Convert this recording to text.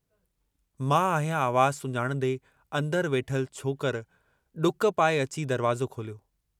मां आहियां आवाज़ु सुञाणंदे अन्दर वेठल छोकर डुक पाए अची दरवाज़ो खोलियो।